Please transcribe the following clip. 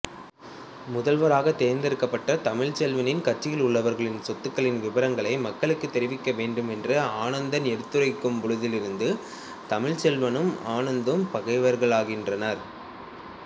முதல்வராக தேர்ந்தெடுக்கப்பட்ட தமிழ்ச்செல்வனின் கட்சியில் உள்ளவர்களின் சொத்துக்களின் விபரங்களை மக்களுக்குத் தெரிவிக்கவேண்டுமென்று ஆனந்தன் எடுத்துரைக்கும்பொழுதிலிருந்து தமிழ்ச்செல்வனும் ஆனந்தும் பகைவர்களாகின்றனர்